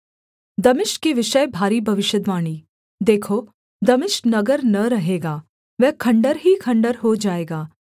दमिश्क के विषय भारी भविष्यद्वाणी देखो दमिश्क नगर न रहेगा वह खण्डहर ही खण्डहर हो जाएगा